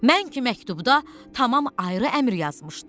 Mən ki məktubda tamam ayrı əmr yazmışdım.